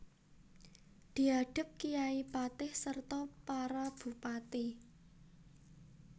Diadhep kyai patih serta para bupati